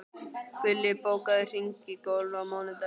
Gulli, bókaðu hring í golf á mánudaginn.